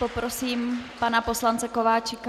Poprosím pana poslance Kováčika.